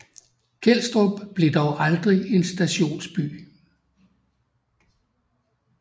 Kelstrup blev dog aldrig en stationsby